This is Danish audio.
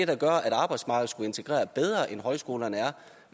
der gør at arbejdsmarkedet skulle integrere bedre end højskolerne